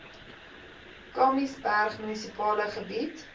kamiesberg munisipale gebied